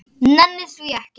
Nenni því ekki